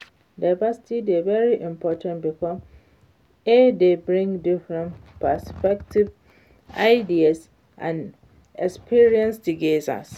diversity dey very important because e dey bring different perspectives, ideas and experiences together.